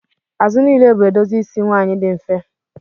Azụ niile bụ edozi isi nwanyị dị mfe